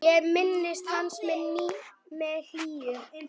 Ég minnist hans með hlýju.